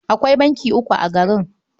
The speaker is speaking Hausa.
Akwai banki uku a garin.